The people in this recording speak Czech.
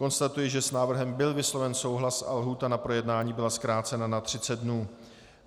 Konstatuji, že s návrhem byl vysloven souhlas a lhůta na projednání byla zkrácena na 30 dnů.